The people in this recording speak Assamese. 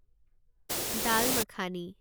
দাল মাখানি